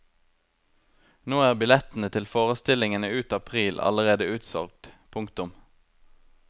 Nå er billettene til forestillingene ut april allerede utsolgt. punktum